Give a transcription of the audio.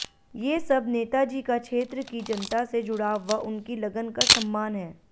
ये सब नेताजी का क्षेत्र की जनता से जुड़ाव व उनकी लगन का सम्मान हैं